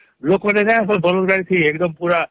ଲୋକରେ ନବଳଦ ଗାଡି ଥି ଏକ ଦାମ ପୁରା